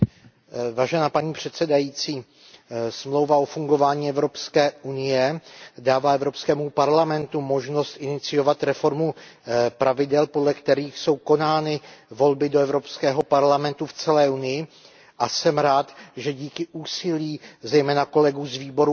Paní předsedající, Smlouva o fungování Evropské unie dává Evropskému parlamentu možnost iniciovat reformu pravidel, podle kterých jsou konány volby do Evropského parlamentu v celé Unii, a jsem rád, že díky úsilí zejména kolegů z výboru AFCO